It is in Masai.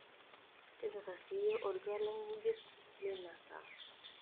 tipika siiyie oltwala ng'ejuk le ina saa